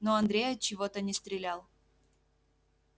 но андрей отчего-то не стрелял